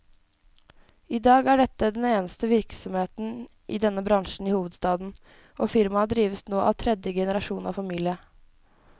I dag er dette den eneste virksomheten i denne bransjen i hovedstaden, og firmaet drives nå av tredje generasjon av familien.